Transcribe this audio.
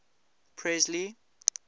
presley